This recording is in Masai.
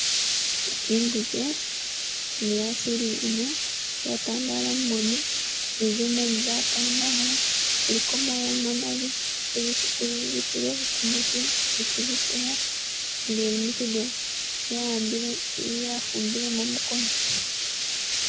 Inguje ni yasilile ino yatandala mumoni ni zimoni za tandala iliko moya mamali kuzizitulo kumuti ni kuziseya nga ili mukigoona, ya'ambile yafumbilemo mukono.